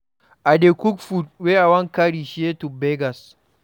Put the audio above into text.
I dey cook food wey I wan carry share to beggars.